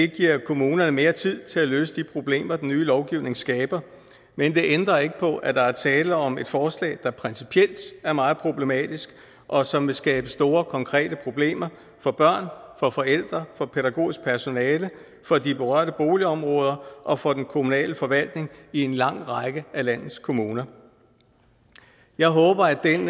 giver kommunerne mere tid til at løse de problemer den nye lovgivning skaber men det ændrer ikke på at der er tale om et forslag der principielt er meget problematisk og som vil skabe store konkrete problemer for børn for forældre for det pædagogiske personale for de berørte boligområder og for den kommunale forvaltning i en lang række af landets kommuner jeg håber at